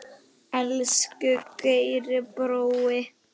Elsku Geiri brói.